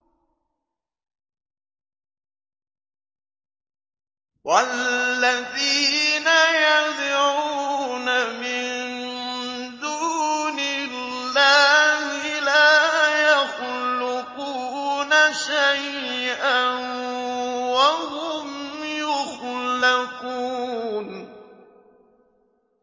وَالَّذِينَ يَدْعُونَ مِن دُونِ اللَّهِ لَا يَخْلُقُونَ شَيْئًا وَهُمْ يُخْلَقُونَ